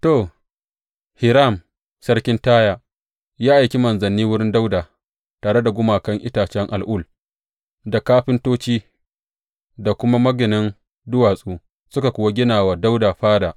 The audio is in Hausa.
To, Hiram sarkin Taya ya aiki manzanni wurin Dawuda tare da gumaguman itacen al’ul, da kafintoci, da kuma maginan duwatsu, suka kuwa gina wa Dawuda fada.